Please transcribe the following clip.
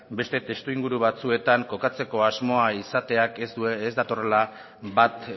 beste testuinguru batzuetan kokatzeko asmoa izateak ez datorrela bat